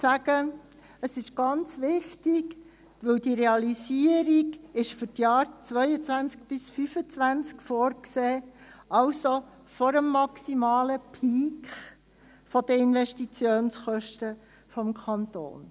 Es ist wichtig, die Realisierung ist für die Jahre 2022 bis 2025 vorgesehen, also vor dem maximalen Peak der Investitionskosten des Kantons.